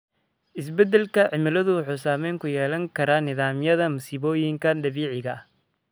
Isbeddelka cimiladu wuxuu saameyn ku yeelan karaa nidaamyada masiibooyinka dabiiciga ah.